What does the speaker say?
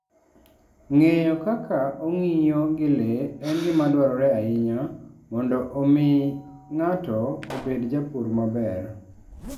Ng'eyo kaka ong'iyo gi le en gima dwarore ahinya mondo omi ng'ato obed japur maber.